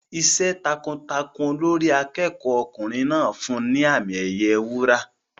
Iṣẹ́ takuntakun Olórí akẹ́kọ̀ọ́ ọkùnrin náà fún un ní àmì ẹ̀yẹ wúrà.